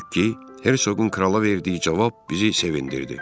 Hersoqun krala verdiyi cavab bizi sevindirdi.